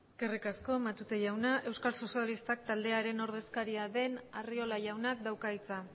eskerrik asko matute jauna euskal sozialistak taldearen ordezkaria den arriola jaunak dauka hitza